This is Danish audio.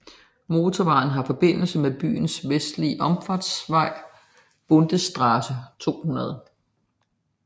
Motorvejen har forbindelse med byens vestlige omfartsvej Bundesstraße 200